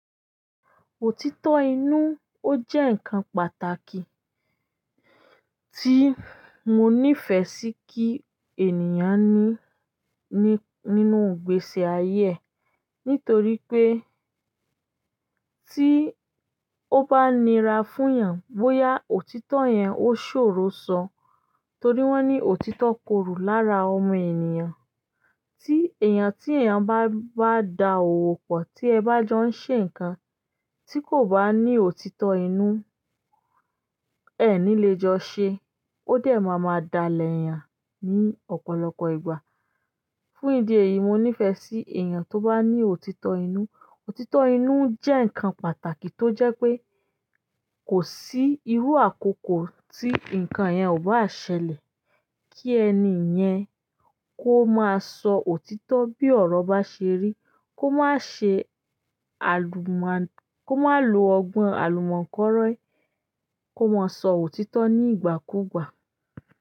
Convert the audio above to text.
Òtítọ́ inú, ó jẹ́ nǹkan pàtàkì tí mo nífẹ̀ẹ́ sí kí ènìyàn ní, ní, nínú ìgbésí-ayé ẹ̀, nítorí pé tí ó bá nira fún èèyàn bóyá òtítọ́ yẹn ó ṣòro sọ, torí wọ́n ní òtítọ́ korò lára ọmọ ènìyàn. Tí èèyàn, tí èèyàn bá, bá da òwò pọ̀, tí ẹ bá jọ ń ṣe nǹkan, tí kò bá ní òtítọ́ inú, ẹ ẹ̀ ní le jọ ṣe, ó dẹ̀ máa máa dalẹ̀ èèyàn ní ọ̀pọ̀lọpọ̀ ìgbà. Fún ìdí èyí, mo nífẹ̀ẹ́ sí èèyàn tó bá ní òtítọ́ inú. Òtítọ́ inú jẹ́ ǹkan pàtàkì tó jẹ́ pé kò sí irú àkókò tí ǹkan yẹn ò bá ṣẹlẹ̀. Kí ẹni yẹn kó máa sọ òtítọ́ bí ọ̀rọ̀ bá ṣe rí, kó má ṣe àlùmá-- kó má lo ọgbọ́n àlùmọ̀kọ́rọ́yí, kó máa sọ òtítọ́ ní ìgbà kúùgbà.